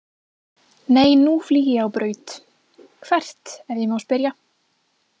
Nei nú flýg ég á braut „“ Hvert ef ég má spyrja? „